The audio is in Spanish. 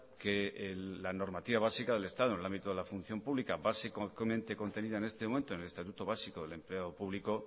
que la normativa básica del estado en el ámbito de la función pública básicamente contenida en este momento en el estatuto básico del empleado público